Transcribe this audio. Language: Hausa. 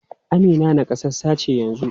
Amina nakasassa ce yanzu?